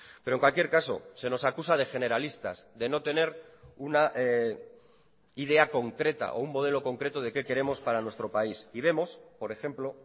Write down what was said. pero en cualquier caso se nos acusa de generalistas de no tener una idea concreta o un modelo concreto de qué queremos para nuestro país y vemos por ejemplo